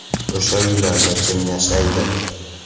O‘sha uylarda kim yashaydi?